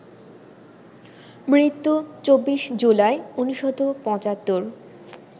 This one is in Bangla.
মৃত্যু ২৪ জুলাই ১৯৭৫